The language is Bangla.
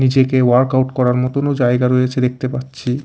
নিচে ওয়ার্কআউট করার ও জায়গা রয়েছে দেখতে পাচ্ছি।